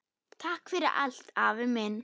Takk fyrir allt, afi minn.